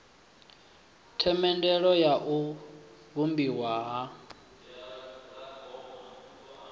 themendelo ya u vhumbiwa ha